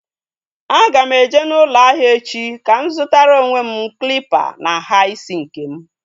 A ga m eje n'ụlọ ahịa echi ka m zutara onwe m klịpa na nhá isi nkem